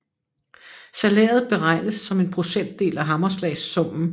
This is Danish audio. Salæret beregnes som en procentdel af hammerslagssummen